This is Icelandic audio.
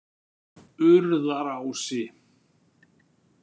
Urðarási